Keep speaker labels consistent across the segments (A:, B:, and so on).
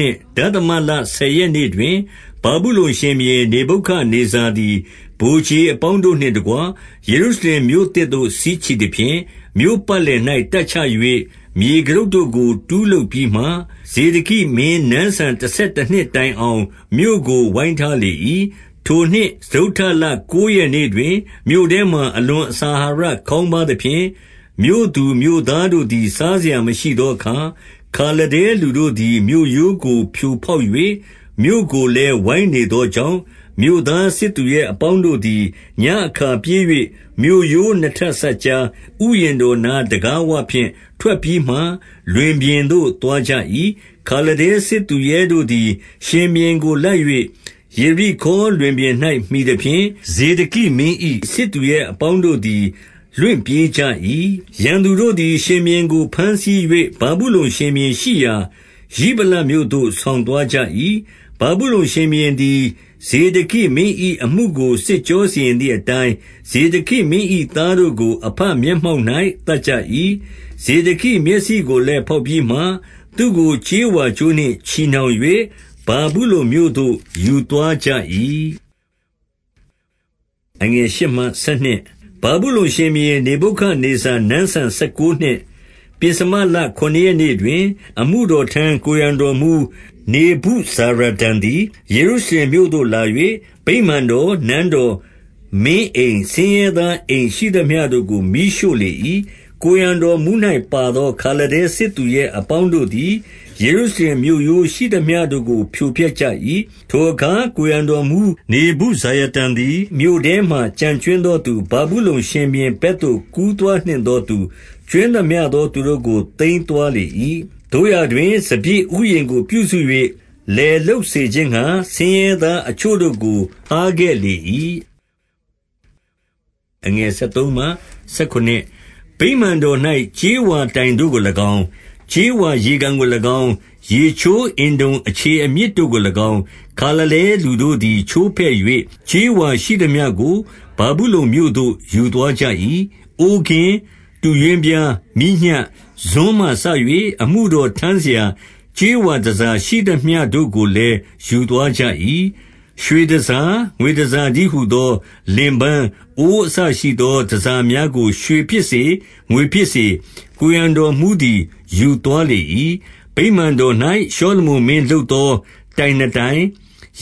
A: နှစ်၊ ဒသမလဆယ်ရက် နေ့တွင် ဗာဗုလုန်ရှင်ဘုရင် နေဗုခဒ်နေဇာသည် ဗိုလ်ခြေ အပေါင်းတို့နှင့်တကွ ယေရုရှလင်မြို့သို့ စစ်ချီသဖြင့်၊ မြို့ပတ်လည်၌တပ်ချ၍ မြေကတုပ်တို့ကို တူးလုပ်ပြီးမှ၊ 2 ဇေဒကိမင်း နန်းစံတဆယ်တနှစ်တိုင်အောင် မြို့ကိုဝိုင်းထားလေ၏။ 3 ထိုနှစ်စတုတ္ထလကိုးရက်နေ့တွင်၊ မြို့ထဲမှာ အလွန်အစာအာဟာရခေါင်းပါးသဖြင့်၊ မြို့သူမြို့သားတို့ သည် စားစရာမရှိသောအခါ၊ 4 ခါလဒဲ လူတို့သည်မြို့ရိုးကို ဖြိုဖောက်၍ မြို့ကို လည်း ဝိုင်းနေသောကြောင့်၊ မြို့သားစစ်သူရဲအပေါင်းတို့ သည် ညဉ့်အခါ ပြေး၍မြို့ရိုးနှစ်ထပ်စပ်ကြား ဥယျာဉ် တော်နားတံခါးဝဖြင့် ထွက်ပြီးမှ လွင်ပြင်သို့ သွားကြ၏။ 5 ခါလဒဲစစ်သူရဲတို့သည် ရှင်ဘုရင်ကို လိုက်၍ ယေရိခေါလွင်ပြင်၌ မှီသဖြင့်၊ ဇေဒကိမင်း၏ စစ်သူရဲ အပေါင်းတို့သည် လွင့်ပြေးကြ၏။ 6 ရန်သူတို့သည် ရှင်ဘုရင်ကိုဘမ်းဆီး၍ ဗာဗုလုန် ရှင်ဘုရင်ရှိရာ ရိဗလမြို့သို့ ဆောင်သွားကြ၏။ ဗာဗုလုန် ရှင်ဘုရင်သည် ဇေဒကိမင်း၏အမှုကို စစ်ကြောစီရင်သည် အတိုင်း၊ 7 ဇေဒကိမင်း၏ သားတို့ကို အဘမျက်မှောက်၌ သတ်ကြ၏။ ဇေဒကိမျက်စိကိုလည်း ဖောက်ပြီးမှ၊ သူကိုကြေးဝါးကြိုးနှင့်ချည်နှောင်၍ ဗာဗုလုန်မြို့သို့ ယူသွား ကြ၏။ 8 ဗာဗုလုန်ရှင်ဘုရင် နေဗုခဒ်နေဇာနန်းစံ ဆယ် ကိုးနှစ်၊ ပဥ္စမလ ခုနစ်ရက်နေ့တွင်၊ အမှုတော်ထမ်း ကိုယ်ရံတော်မှူးနေဗုဇာရဒန်သည် ယေရုရှလင်မြို့သို့ လာ၍၊ 9 ဗိမာန်တော်၊ နန်းတော်၊ မင်းအိမ်၊ ဆင်းရဲသား အိမ်ရှိသမျှတို့ကို မီးရှို့လေ၏။ 10 ကိုယ်ရံတော်မှူး၌ပါသော ခါလဒဲစစ်သူရဲ အပေါင်းတို့သည် ယေရုရှလင်မြို့ရိုးရှိသမျှတို့ကို ဖြိုဖျက် ကြ၏။ 11 ထိုအခါကိုယ်ရံတော်မှူး နေဗုဇာရဒန်သည် မြို့ထဲမှာ ကျန်ကြွင်းသောသူ၊ ဗာဗုလုန်ရှင်ဘုရင်ဘက်သို့ ကူးသွားနှင့်သောသူ၊ ကြွင်းသမျှသောသူတို့ကို သိမ်းသွား လေ၏။ 12 သို့ရာတွင် စပျစ်ဥယျာဉ်ကိုပြုစု၍ လယ်လုပ် စေခြင်းငှါ၊ ဆင်းရဲသားအချို့တို့ကိုထားခဲ့လေ၏။ 13 ဗိမာန်တော်၌ ကြေးဝါတိုင်တို့ကို၎င်း၊ ကြေးဝါ ရေကန်ကို၎င်း၊ ရေချိုးအင်တုံအခြေအမြစ်တို့ကို၎င်း၊ ခါလဒဲလူတို့သည် ချိုးဖဲ့၍၊ ကြေးဝါရှိသမျှကို ဗာဗုလုန်မြို့သို့ ယူသွား ကြ၏။ 14 အိုးကင်း၊ တူးရွင်းပြား၊ မီးညှပ်၊ ဇွန်းမှစ၍ အမှုတော်ထမ်းစရာ ကြေးဝါတန်ဆာရှိသမျှ တို့ကိုလည်း ယူသွားကြ၏။ 15 ရွှေတန်ဆာ၊ ငွေတန်ဆာတည်းဟူသော လင်ပန်း၊ အိုးအစရှိသော တန်ဆာများကို ရွှေဖြစ်စေ၊ ငွေဖြစ်စေ၊ ကိုယ်ရံတော်မှူးသည် ယူသွားလေ၏။ 16 ဗိမာန်တော်၌ ရှောလမုန်မင်းလုပ်သော တိုင်နှစ် တိုင်၊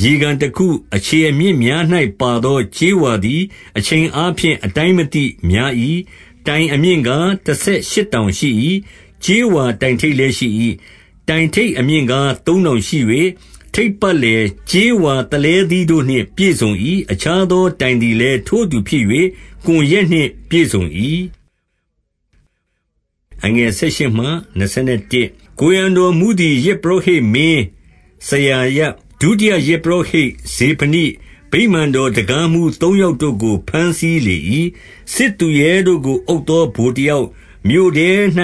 A: ရေကန်တခု၊ အခြေအမြစ်များ၌ပါသော ကြေးဝါ သည် အချိန်အားဖြင့် အတိုင်းမသိ များ၏။ 17 တိုင်အမြင့်ကားတဆယ်ရှစ်တောင်ရှိ၏။ ကြေးဝါ တိုင်ထိပ်လည်း ရှိ၏။ တိုင်ထိပ်အမြင့်ကား သုံးတောင်ရှိ၍၊ ထိပ်ပတ်လည်း ကြေးဝါကွန် ရွက်၊ ကြေးဝါသလဲသီးတို့နှင့် ပြည့်စုံ၏။ အခြားသောတိုင်သည်လည်း ထိုအတူဖြစ်၍ ကွန်ရွက်နှင့် ပြည့်စုံ၏။ 18 ကိုယ်ရံတော်မှူးသည် ယဇ်ပုရောဟိတ်မင်း စရာယ၊ ဒုတိယယဇ်ပုရောဟိတ်ဇေဖနိ၊ ဗိမာန်တော် တံခါးမှူး သုံးယောက်တို့ကို ဘမ်းဆီးလေ၏။ 19 စစ်သူရဲတို့ကိုအုပ်သော ဗိုလ်တယောက်၊ မြို့ထဲ ၌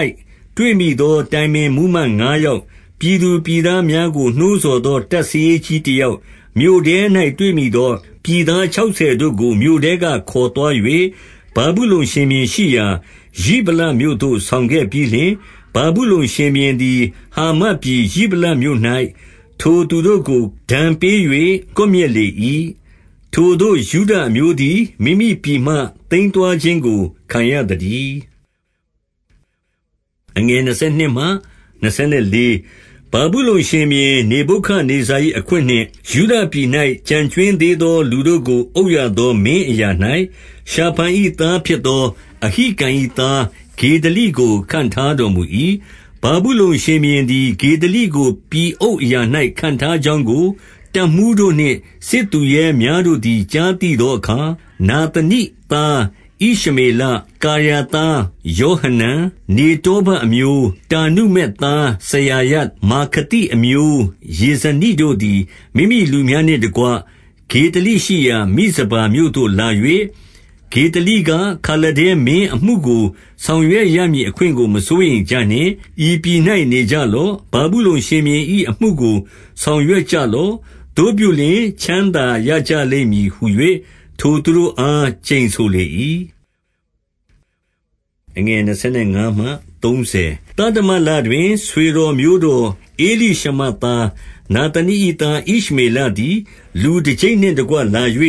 A: တွေ့မိသော တိုင်ပင်မှူးမတ်ငါးယောက်၊ ပြည်သူ ပြည်သားများကို နှိုးဆော်သော တပ်စာရေးကြီး တယောက်၊ မြို့ထဲ၌တွေ့မိသော ပြည်သားခြောက်ဆယ်တို့ ကိုမြို့ထဲကခေါ်သွား၍၊ 20 ဗာဗုလုန်ရှင်ဘုရင်ရှိရာ ရိဗလမြို့သို့ဆောင်ခဲ့ ပြီးလျှင်၊ 21 ဗာဗုလုန်ရှင်ဘုရင်သည် ဟာမတ်ပြည်ရိဗလမြို့ ၌ ထိုသူတု့ကို ဒဏ်ပေး၍ ကွပ်မျက်လေ၏။ ထိုသို့ ယုဒအမျိုးသည် မိမိပြည်မှ သိမ်းသွားခြင်းကို ခံရ သတည်း။ 22 ဗာဗုလုန်ရှင်ဘုရင် နေဗုခဒ်နေဇာ၏ အခွင့်နှင့် ယုဒပြည်၌ ကျန်ကြွင်းသေးသော လူတို့ကို အုပ်ရသော မင်းအရာ၌၊ ရှာဖန်၏သားဖြစ်သော အဟိကံ၏သား ဂေဒလိကို ခန့်ထားတော်မူ၏။ 23 ဗာဗုလုန်ရှင်ဘုရင်သည် ဂေဒလိကို ပြည်အုပ် အရာ၌ခန့်ထားကြောင်းကို တပ်မှူးတို့နှင့် စစ်သူရဲများ တို့သည် ကြားသိသောအခါ၊ နာသနိသားဣရှမေလ၊ ကာရာသားယောဟနန်၊ နေတောဖတ်အမျိုး၊ တာနုမက် သားစရာယ၊ မာခလိအမျိုးသားယေဇနိတို့သည် မိမိ လူများနှင့်တကွ၊ ဂေဒလိရှိရာမိဇပါမြို့သို့လာ၍၊ 24 ဂေဒလိက၊ ခါလဒဲမင်းအမှုကို ဆောင်ရွက်ရ မည်အခွင့်ကို မစိုးရမ်ကြနှင့်။ ဤပြည်၌နေကြလော့။ ဗာဗုလုန်ရှင်ဘုရင်၏အမှုကို ဆောင်ရွက်ကြလော့။ သို့ပြုလျှင် ချမ်းသာရကြလိမ့်မည်ဟူ၍ ထိုသူတို့အား ကျိန်ဆိုလေ၏။ 25 သတ္တမလတွင်၊ ဆွေတော်မျိုးတော် ဧလိရှမာ သားသနိ၏ သားဣရှမေလသည် လူတကျိပ်နှင့်တကွ လာ၍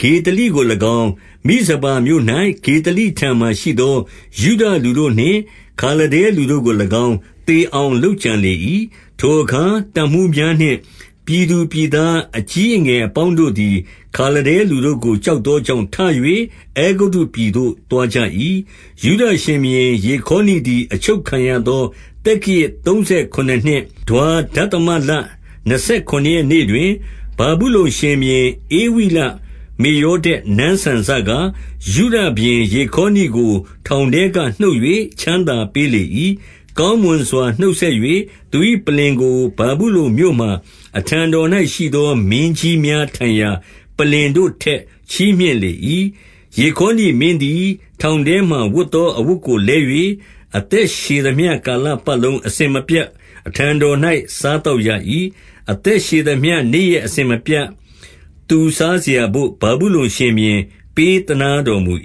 A: ဂေဒလိကို၎င်း၊ မိဇပါမြို့ ၌ ဂေဒလိထံမှာရှိသော ယုဒလူတို့နှင့် ခါလဒဲလူတို့ကို၎င်း သေအောင် လုပ်ကြံ လေ၏။ 26 ထိုအခါ တပ်မှူးများနှင့် ပြည်သူပြည်သား အကြီးအငယ်အပေါင်းတို့သည် ခါလဒဲလူတို့ကို ကြောက် သောကြောင့် ထ၍ အဲဂုတ္တုပြည်သို့ သွားကြ၏။ 27 ယုဒရှင်ဘုရင် ယေခေါနိသည် အချုပ်ခံရသော သက္ကရာဇ်သုံးဆယ်ခုနစ်နှစ်၊ ဒွါဒသမလနှစ်ဆယ် ခုနစ် ရက်နေ့တွင်၊ ဗာဗုလုန်ရှင်ဘုရင် ဧဝိလမေရော ဒက်နန်းစံ စက၊ ယုဒရှင်ဘုရင်ယေခေါနိကို ထောင်ထဲက နှုတ်၍ ချမ်းသာပေးလေ၏။ 28 ကောင်းမွန်စွာ နှုတ်ဆက်၍ သူ၏ပလ္လင်ကို ဗာဗုလုန်မြို့မှာ အထံတော်၌ ရှိသောမင်း ကြီးများထိုင်ရာ ပလ္လင်တို့ထက် ချီးမြှင့်လေ၏။ 29 ယေခေါနိမင်းသည် ထောင်ထဲမှာ ဝတ်သော အဝတ်ကို လဲ၍၊ အသက်ရှည်သမျှကာလပတ်လုံး အစဉ်မပြတ်အထံတော်၌ စားသောက်ရ၏။ 30 အသက်ရှည်သမျှနေ့ရက် အစဉ်မပြတ်သူ စားစရာဘို့ ဗာဗုလုန်ရှင်ဘုရင် ပေးသနားတော်မူ